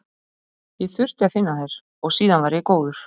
Ég þurfti að finna þær og síðan var ég góður.